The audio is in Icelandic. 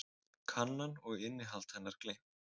Kannan og innihald hennar gleymt.